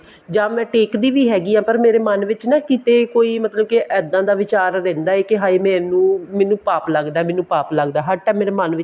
ਜਾਂ ਮੈਂ ਟੇਕਦੀ ਵੀ ਹੈਗੀ ਹਾਂ ਮੇਰੇ ਮਨ ਵਿੱਚ ਕਿਤੇ ਕੋਈ ਮਤਲਬ ਕੇ ਇੱਦਾਂ ਦਾ ਵਿਚਾਰ ਰਹਿੰਦਾ ਹੈ ਕੇ ਹਾਏ ਮੈਨੂੰ ਪਾਪ ਲੱਗਦਾ ਮੈਨੂੰ ਪਾਪ ਲੱਗਦਾ ਹਰ time ਮੇਰੇ ਮਨ ਵਿੱਚ